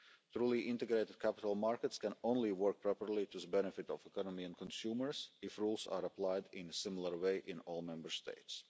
Truly integrated capital markets can only work properly to the benefit of the economy and consumers if rules are applied in a similar way in all Member States.